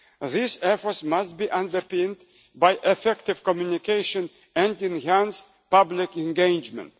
These efforts must be underpinned by effective communication and enhanced public engagement.